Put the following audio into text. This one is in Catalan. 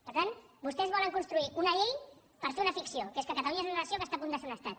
per tant vostès volen construir una llei per fer una fic ció que és que catalunya és una nació que està a punt de ser un estat